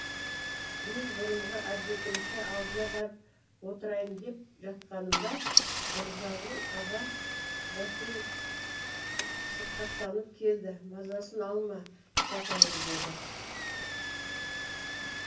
мен бұрынғы әдетімше алдына барып отырайын деп жатқанымда мырзағұл аға бәкен сырқаттанып келді мазасын алма шәкәрім деді